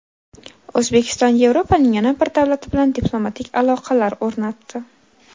O‘zbekiston Yevropaning yana bir davlati bilan diplomatik aloqalar o‘rnatdi.